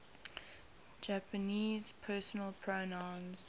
japanese personal pronouns